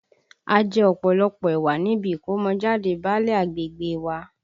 A jẹ ọ̀pọ̀lọpọ̀ ẹ̀wà níbi ìkọ́mọjáde báálẹ̀ agbègbè e wa